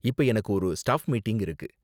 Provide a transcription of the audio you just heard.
இப்ப எனக்கு ஒரு ஸ்டாஃப் மீட்டிங் இருக்கு.